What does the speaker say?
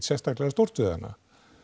sérstaklega stór við hana